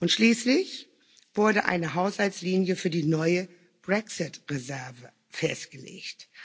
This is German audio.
Schließlich wurde eine Haushaltslinie für die neue Brexit Reserve festgelegt.